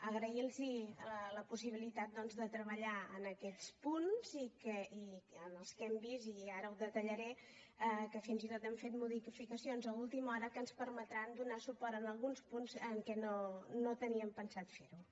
agrair los la possibilitat doncs de treballar en aquests punts en els quals hem vist ara ho detallaré que fins i tot han fet modificacions a última hora que ens permetran donar suport en alguns punts en què no teníem pensat fer ho